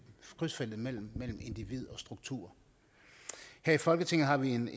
krydsfeltet mellem individ og struktur her i folketinget har vi en